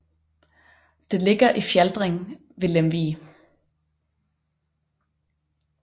Det ligger i Fjaltring ved Lemvig